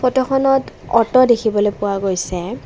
ফটোখনত অট' দেখিবলৈ পোৱা গৈছে।